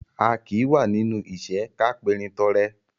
A kì í wà nínú ìṣẹ́ ká perin tọrẹ